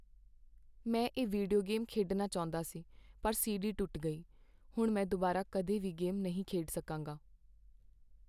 ਮੈਂ ਇਹ video game ਖੇਡਣਾ ਚਾਹੁੰਦਾ ਸੀ ਪਰ ਸੀਡੀ ਟੁੱਟ ਗਈ। ਹੁਣ ਮੈਂ ਦੁਬਾਰਾ ਕਦੇ ਵੀ ਗੇਮ ਨਹੀਂ ਖੇਡ ਸਕਾਂਗਾ।